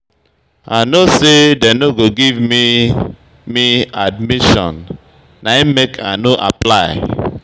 I no sey dem no go give me me admission na im make I no apply.